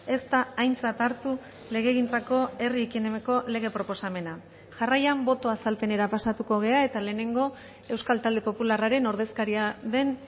ez da aintzat hartu legegintzako herri ekimeneko lege proposamena jarraian boto azalpenera pasatuko gara eta lehenengo euskal talde popularraren ordezkaria den